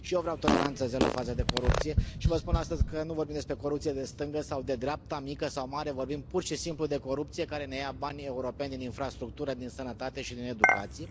Și eu vreau toleranță zero față de corupție și vă spun astăzi că nu vorbim despre corupție de stânga sau de dreapta, mică sau mare, vorbim pur și simplu de corupție care ne ia banii europeni din infrastructură, din sănătate și din educație.